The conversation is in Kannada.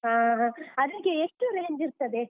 ಆಹಾ. ಅದ್ಕೆ ಎಷ್ಟು range ಇರ್ತದೆ?